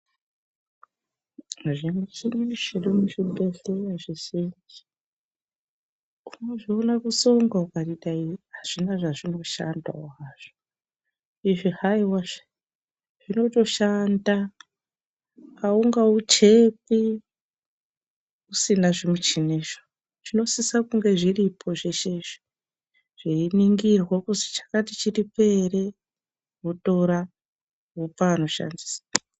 Zvimichini zviri muzvibhehleya zvese unozviona kutsonga ukati azvina zvazvinoshandawo hazvo izvi haiwazvve zvinotoshanda awungauchekwi usina zvimichinizvo zvinosisa kunge zviripo zveshe izvi zveiningirwa kuti chakati chiripo ere, wotora wopa anoshandisa.